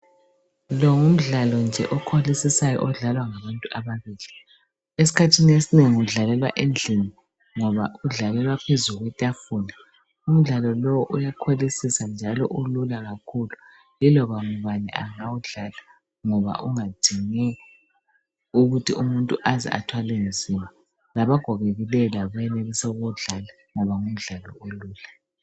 Lo ngumdlalo nje okholisisayo odlalwa ngabantu ababili. Esikhathini esinengi udlalelwa endlini ngoba udlalelwa phezu kwetafula. Umdlalo lo uyakholisisa njalo ulula kakhulu. Yiloba mbani angawudlala ngoba ungadingi ukuthi umuntu aze athwale nzima. Labagogekileyo labo bayenelisa ukuwudlala ngoba ngumdlalo olula.